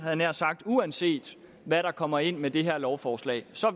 jeg nær sagt uanset hvad der kommer ind med det her lovforslag